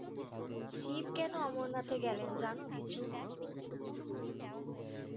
শিব কেন অমরনাথ গেলেন জানো কিছু?